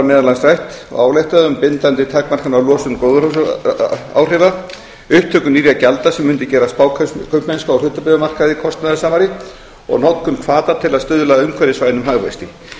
meðal annars rætt og ályktað um bindandi takmarkanir á losun gróðurhúsaáhrifa upptöku nýrra gjalda sem mundu gera spákaupmennsku á hlutabréfamarkaði kostnaðarsamari og notkun hvata til að stuðla að umhverfisvænum hagvexti